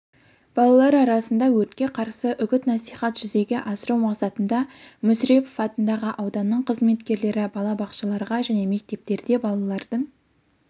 балалар арасында өртке қарсы үгіт-насихат жүзеге асыру мақсатында мүсірепов атындағы ауданның қызметкерлері балабақшаларда және мектептерде балалардың